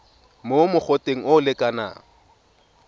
mo mogoteng o o lekanang